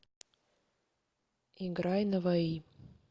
играй наваи